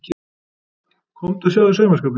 Komdu og sjáðu saumaskapinn.